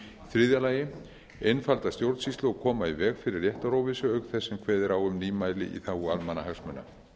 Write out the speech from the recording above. þriðja að einfalda stjórnsýslu og koma í veg fyrir réttaróvissu auk þess sem kveðið er á um nýmæli í þágu almannahagsmuna